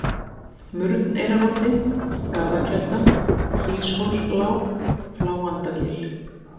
Murneyrarodddi, Garðakelda, Hríshólslág, Fláandagil